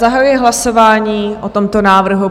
Zahajuji hlasování o tomto návrhu.